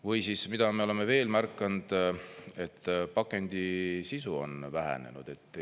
Või siis, mida me oleme veel märganud, et pakendi sisu on vähenenud.